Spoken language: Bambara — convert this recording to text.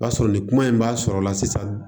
O y'a sɔrɔ ni kuma in b'a sɔrɔla sisan